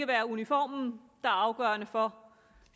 være uniformen der er afgørende for